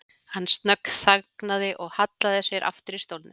Hann snöggþagnaði og hallaði sér aftur í stólnum.